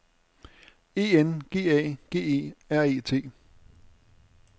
E N G A G E R E T